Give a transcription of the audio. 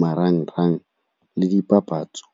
marang-rang le dipapatso.